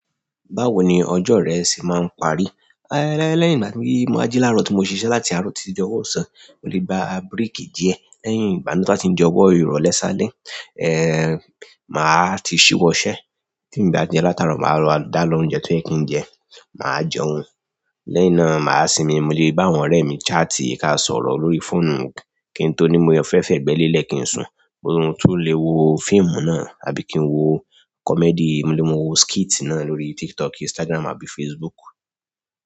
Báwo ni ọjọ́ rẹ ṣe máa ń parí? Lẹ́yìn ìgbà ti mo ba jí láarò tí mo ṣiṣẹ́ láti àárọ̀ títi dọwọ́ ọ̀sán, mo lè gba break díẹ̀. Lẹ́yìn ìgbà náà to ba tin di ọwọ́ ìrọ̀lẹ́ sálẹ́, màá ti ṣíwọ́ iṣẹ́. Ti m ba jẹun lataarọ ma rọra dáná oúnjẹ to yẹ ki n jẹ maa jẹun. Lẹ́ìn náà, màá sinmi, mo lè bá àwọn ọ̀rẹ́ mi chat, káà sọ̀rọ̀ lórí fóònù kín tó ní mo fẹ́ fẹ́gbẹ́ lẹ́lẹ́ kí n sun. Mo tún lè wo fíìmù náà àbí kí n wo comedy, mo lè mo wo skit náà lórí TikTok, Instagram àbí Facebook.